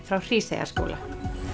frá Hríseyjarskóla